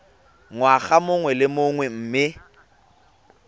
ngwaga mongwe le mongwe mme